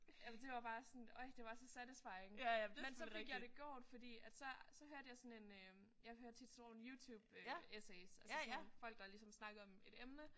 Eller det var bare sådan oj det var så satisfying. Men så fik jeg det gjort fordi at så så hørte jeg sådan en jeg hører tit sådan nogle YouTube essays altså nogle folk der ligesom snakker om et emne